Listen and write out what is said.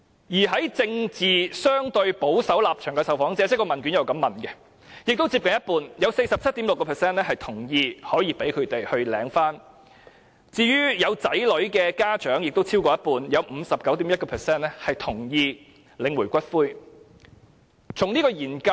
另外，在政治立場相對保守的受訪者當中，也有接近一半同意讓他們領取伴侶的骨灰；有子女的家長當中亦有超過一半同意他們可領取伴侶的骨灰。